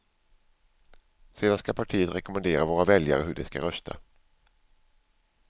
Sedan ska partiet rekommendera våra väljare hur de ska rösta.